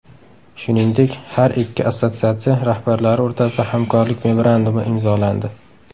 Shuningdek, har ikki assotsiatsiya rahbarlari o‘rtasida hamkorlik memorandumi imzolandi.